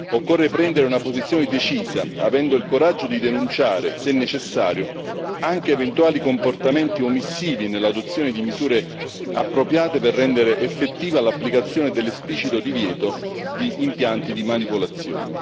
Occorre prendere una posizione decisa, avendo il coraggio di denunciare, se necessario, anche eventuali comportamenti omissivi nell'adozione di misure appropriate per rendere effettiva l'applicazione dell'esplicito divieto di impianti di manipolazione.